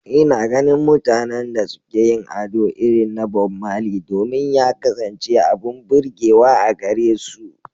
Ina ganin mutanen da suke yin ado irin na Bob Marley domin ya kasance abin burgewa a gare su.